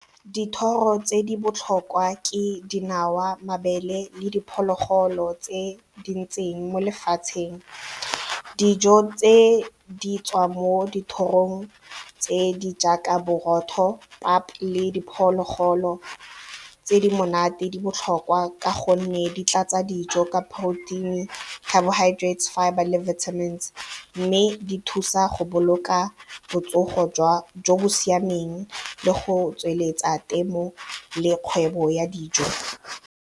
Dithoro tse di botlhokwa ke dinawa, mabele le diphologolo tse di ntseng mo lefatsheng. Dijo tse di tswa mo dithorong tse di jaaka borotho, pap le diphologolo tse di monate di botlhokwa ka gonne di tlatsa dijo ka protein, carbohydrates, fibre le vitamin mme di thusa go boloka botsogo jo bo siameng le go tsweletsa temo le kgwebo ya dijo.